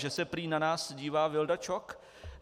Že se prý na nás dívá Vilda Čok.